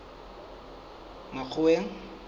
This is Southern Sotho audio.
makgoweng